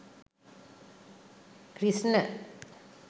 krishna